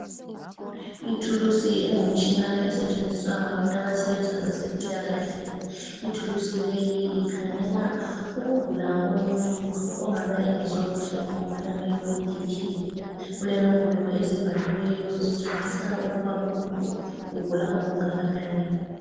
Ithulusi engumtshina esetshenziswa ngabantu abasebenza kwezempilakahle. Ithulusi leyi ikhangela ukugula komuntu ongabe engezwa kuhle ngomkhuhlane weBP. Kulenombolo ezibhaliweyo zitshengisa ukuba umuntu ugula okungakanani.